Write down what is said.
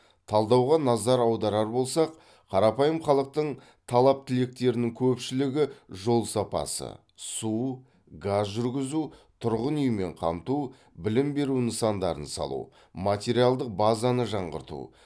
талдауға назар аударар болсақ қарапайым халықтың талап тілектерінің көпшілігі жол сапасы су газ жүргізу тұрғын үймен қамту білім беру нысандарын салу материалдық базаны жаңарту